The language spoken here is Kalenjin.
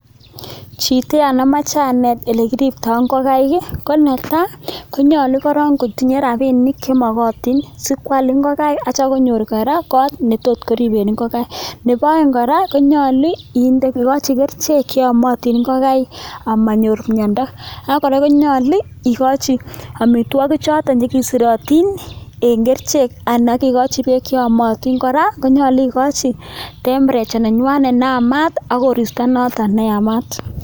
Chto yon amoche anet ole kiripto ngokaik ko nyolu koron kotinye rapinik chemokotin sikwal ngokaik aitya konyor kora kot netot koriben ngokaik. Nebo oeng' kora konyolu ikochi kerichek cheyomotin ngokaik aimonyor myondo ,akonyolu ikochi amitwogik choton chekisirotin en kerichek anan ko kebeek cheyomotin, kora konyolu ikochi temperature nenywanet neyamat anan ko koristo noton neyamat.